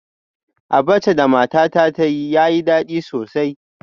Abacha da matata ta yi yayi dadi sosai